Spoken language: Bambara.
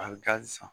A bɛ taa san